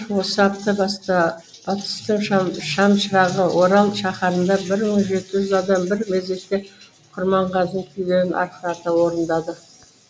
осы апта басты шамшырағы орал шаһарында бір мың жеті жүз адам бір мезетте құрманғазының күйлерін арқырата орындады